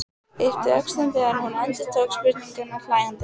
Yppti öxlum þegar hún endurtók spurninguna hlæjandi.